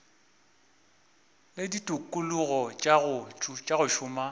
le ditikologo tša go šoma